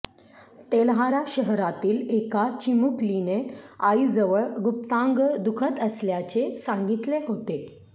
तेल्हारा शहरातील एका चिमुकलीने आईजवळ गुप्तांग दुखत असल्याचे सांगितले होते